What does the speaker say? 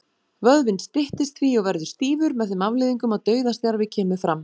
Vöðvinn styttist því og verður stífur, með þeim afleiðingum að dauðastjarfi kemur fram.